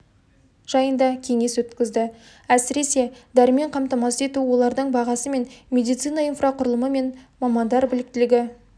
жайында кеңес өткізді әсіресе дәрімен қамтамасыз ету олардың бағасы мен медицина инфрақұрылымы және мамандар біліктілігі